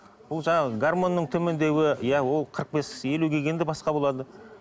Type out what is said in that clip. бұл жаңағы гармонның төмендеуі иә ол қырық бес елуге келгенде басқа болады